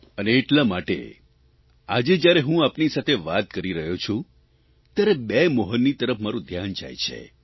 અને એટલા માટે આજે જ્યારે હું આપની સાથે વાત કરી રહ્યો છું ત્યારે બે મોહનની તરફ મારૂં ધ્યાન જાય છે